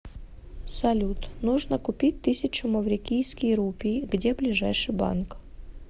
салют нужно купить тысячу маврикийский рупий где ближайший банк